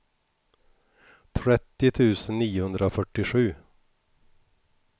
trettio tusen niohundrafyrtiosju